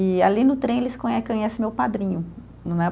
E ali no trem eles conhe conhecem meu padrinho, né?